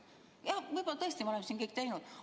Jah, võib-olla me oleme seda kõik teinud.